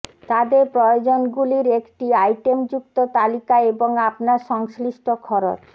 তাদের প্রয়োজনগুলির একটি আইটেমযুক্ত তালিকা এবং আপনার সংশ্লিষ্ট খরচ